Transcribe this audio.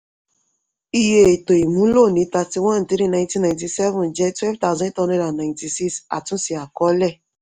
iye ètò ìmúlò ní thirty-one three nineteen ninety-seven jẹ́ twelve thousand eight hundred and ninety-six àtúnse àkọọ́lẹ̀.